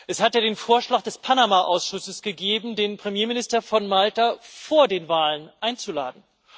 Es hat ja den Vorschlag des Panama Ausschusses gegeben, den Premierminister von Malta vor den Wahlen einzuladen.